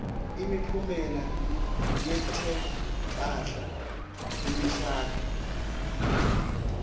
imiphumela yetemphahla kumishado